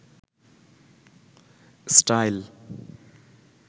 style